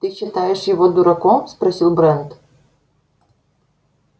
ты считаешь его дурачком спросил брент